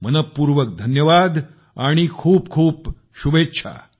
मनःपूर्वक धन्यवाद आणि खूप खूप शुभेच्छा